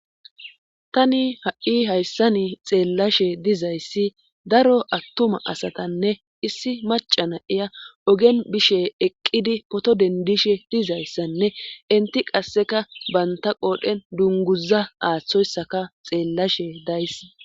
Tani ha7i hayssani xeellashe dizayssi daro attuma asatanne issi maca na7iya ogen bishe eqqidi pooto dendishe dizayssanne inti qasseka banta qoodhen dungguza aaththoyssaka xeellashe days.